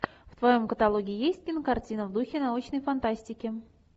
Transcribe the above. в твоем каталоге есть кинокартина в духе научной фантастики